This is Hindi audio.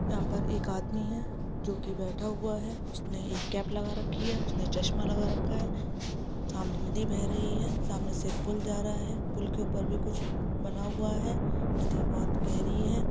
यहां पर एक आदमी है जो की बैठा हुआ है उसने एक कैप लगा रखी है उसने चश्मा लगा रखा है सामने नदी बह रही हैसामने से पुल जा रहा है पुल के ऊपर भी कुछ बना हुआ है नदी बहुत गहरी है ।